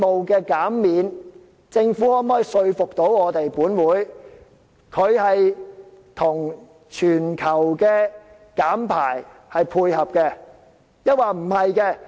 究竟政府可否說服本會，這個稅務減免，會與全球減排配合，抑或不是？